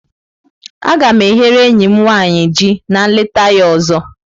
Aga m e ghere enyi m nwanyị ji na nleta ya ọzọ.